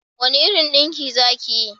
Wani irin dinki za ki yi?